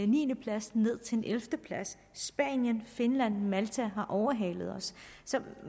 niende plads ned til en ellevte plads spanien finland og malta har overhalet os så